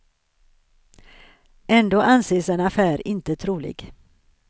Ändå anses en affär inte trolig.